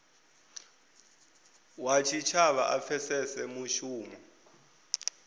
wa tshitshavha a pfesese mushumo